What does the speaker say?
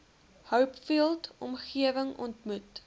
hopefield omgewing ontmoet